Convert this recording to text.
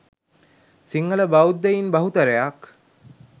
සිංහල බෞද්ධයින් බහුතරයක්